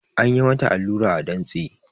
An yi mata allura a dantse